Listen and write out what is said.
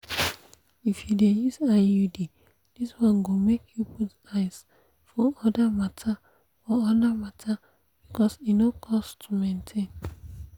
if you dey use iud this one go make you put eyes for other matter for other matter because e no cost to maintain.